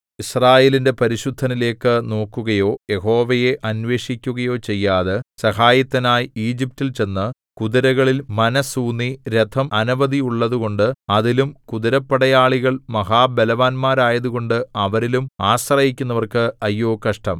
യിസ്രായേലിന്റെ പരിശുദ്ധനിലേക്കു നോക്കുകയോ യഹോവയെ അന്വേഷിക്കുകയോ ചെയ്യാതെ സഹായത്തിനായി ഈജിപ്റ്റിൽ ചെന്നു കുതിരകളിൽ മനസ്സ് ഊന്നി രഥം അനവധിയുള്ളതുകൊണ്ട് അതിലും കുതിരപ്പടയാളികൾ മഹാബലവാന്മാരായതുകൊണ്ട് അവരിലും ആശ്രയിക്കുന്നവർക്ക് അയ്യോ കഷ്ടം